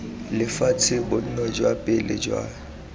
lefatshe bonno jwa pele jwa